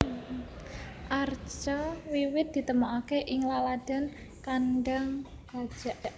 Arca wiwit ditemokaké ing laladan Kandang Gajak